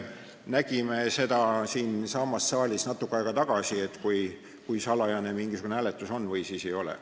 Nägime siinsamas saalis natuke aega tagasi, kui salajane mingisugune hääletus on või ei ole.